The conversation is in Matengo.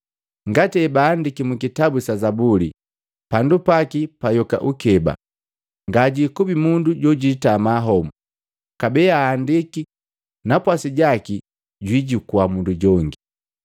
“Ngati hebaandiki mukitabu sa zabuli, ‘Pandu paki payoka ukeba, ngajikubi mundu jojitama homo.’ Kabee aandiki, ‘Napwasi jaki jwiijukua mundu jongi.’